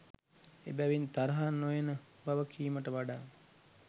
එබැවින් තරහ නොයන බව කීමට වඩා